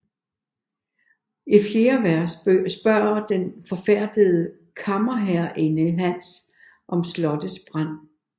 I fjerde vers spørger den forfærdede kammerherreinde Hans om slottets brand